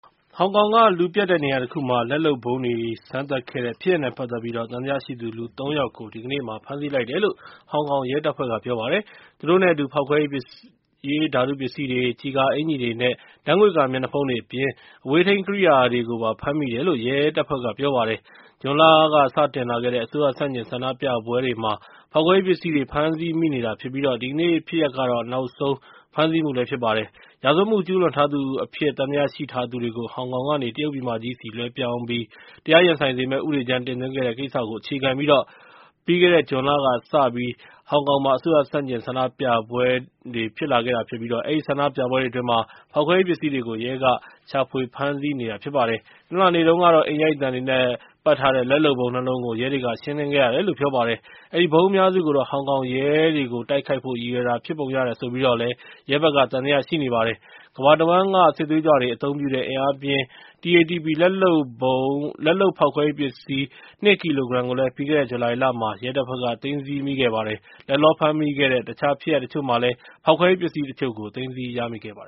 ဟောင်ကောင်က လူပြတ်တဲ့နေရာတခုမှာ လက်လုပ်ဗုံးတွေ စမ်းသပ်ခဲ့တဲ့ ဖြစ်ရပ်နဲ့ ပတ်သက်ပြီး သံသယရှိသူ လူ ၃ ဦးကို ဒီကနေ့ ဖမ်းဆီးလိုက်တယ်လို့ ဟောင်ကောင်ရဲတို့က ပြောပါတယ်။ သူတို့နဲ့အတူ ပေါက်ကွဲရေး ဓာတုပစ္စည်းတွေ၊ ကျည်ကာအင်္ကျီတွေနဲ့ ဓာတ်ငွေ့ကာ မျက်နှာဖုံးတွေအပြင် အဝေးထိန်း ရီမုတ်ကွန်ထရိုးတွေကိုပါ ဖမ်းမိတယ်လို့ ရဲတို့က ပြောပါတယ်။ ဇွန်လကတည်းက စတင်လာတဲ့ အစိုးရဆန့်ကျင် ဆန္ဒပြပွဲတွေမှာ ပေါက်ကွဲရေးပစ္စည်းတွေ ဖမ်းဆီးမိနေတာဖြစ်ပြီး ဒီကနေ့ဖြစ်ရပ်ကတော့ နောက်အကျဆုံး ဖမ်းဆီးမှုလည်း ဖြစ်ပါတယ်။ ရာဇဝတ်မှု ကျူးလွန်ထားသူအဖြစ် သံသယရှိထားသူတွေကို ဟောင်ကောင်ကနေ တရုတ်ပြည်မကြီးဆီ လွှဲပြောင်းပြီး တရားရင်ဆိုင်စေမယ့် ဥပဒေမူကြမ်း တင်သွင်းခဲ့တဲ့ကိစ္စကို အခြေခံပြီး ပြီးခဲ့တဲ့ ဇွန်လက စတင်ပေါ်ပေါက်ခဲ့တဲ့ ဟောင်ကောင်အစိုးရ ဆန့်ကျင်ဆန္ဒပြပွဲအတွင်း ဖောက်ကွဲရေးပစ္စည်းတွေကို ရဲတွေက ရှာဖွေဖမ်းဆီးနေတာပါ။ တနင်္လာနေ့တုန်းကတော့ အိမ်ရိုက်သံတွေနဲ့ ပတ်ထားတဲ့ လက်လုပ်ဗုံး ၂ လုံးကို ရဲတွေ ရှင်းလင်းခဲ့ရတယ်လို့ ပြောပါတယ်။ အဲဒီဗုံးအများစုကိုတော့ ဟောင်ကောင်ရဲတွေကို တိုက်ခိုက်ဖို့ ရည်ရွယ်တာ ဖြစ်ပုံရတယ်ဆိုပြီး ရဲတွေက သံသယရှိနေတာပါ။ ကမ္ဘာတဝှမ်းက စစ်သွေးကြွတွေ အသုံးပြုတဲ့ အင်အားပြင်း TATP လက်လုပ်ဖောက်ခွဲရေးပစ္စည်း ၂ ကီလိုဂရမ်ကိုလည်း ပြီးခဲ့တဲ့ ဇူလိုင်လမှာ ရဲတို့က သိမ်းဆည်းရမိခဲ့တာပါ။ လတ်တလော ဖမ်းဆီးမိတဲ့ အခြားဖြစ်ရပ်တချို့မှာလည်း ပေါက်ကွဲရေးပစ္စည်းတချို့ သိမ်းဆည်းရမိခဲ့ပါသ